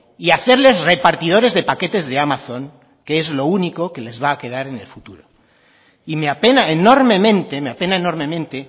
y hacerles repartidores de paquetes de amazon que es lo único que les va a quedar en el futuro y me apena enormemente me apena enormemente